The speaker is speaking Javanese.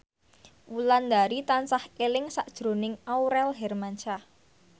Wulandari tansah eling sakjroning Aurel Hermansyah